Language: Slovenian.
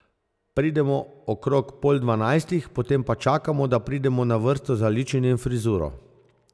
Pridemo okrog pol dvanajstih, potem pa čakamo, da pridemo na vrsto za ličenje in frizuro.